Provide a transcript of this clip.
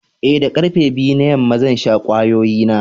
Ee, da karfe biyu na yamma, zan sha kwayoyi na.